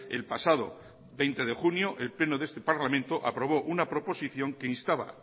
el pasado veinte de junio el pleno de este parlamento aprobó una proposición que instaba